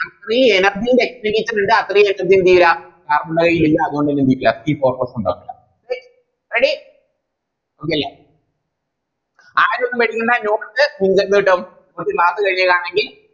ഈ Energy ൻറെ എന്തെയ്യ ഇണ്ടാക്കുവാ Ready okay അല്ലെ ആരും ഒന്നും പേടിക്കണ്ട Note നിങ്ങൾക്ക് എന്ത് കിട്ടും നമുക്ക് Class കഴിഞ്ഞ് ആണെങ്കിൽ